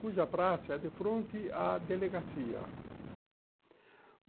Cuja praça é de fronte à delegacia.